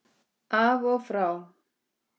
Mummi bróðir gerði það líka.